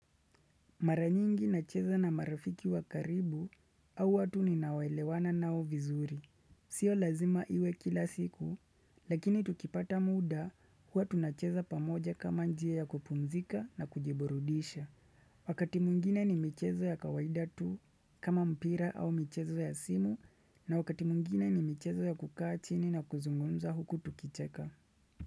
Maranyingi nacheza na marafiki wa karibu au watu ninaoelewana nao vizuri. Sio lazima iwe kila siku, lakini tukipata muda huwa tunacheza pamoja kama njia ya kupumzika na kujiburudisha. Wakati mwingine ni michezo ya kawaida tu kama mpira au michezo ya simu na wakati mwingine ni michezo ya kukaa chini na kuzungumza huku tukicheka.